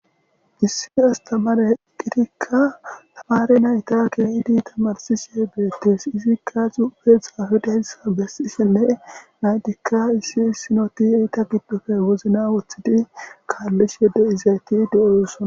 Issi astammare eqqidika tamare nayta tamarishe beetees. hayssi izikka xuufe xaafidayssi besishenne nayththikka issi issi nayti iza gidoppe wozina wothidi kaalizi de'izayti de'osona.